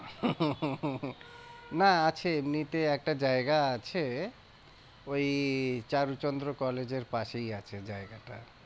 না আছে এমনিতে একটা জায়গা আছে ওই চারুচন্দ্র কলেজের পাশেই আছে জায়গাটা।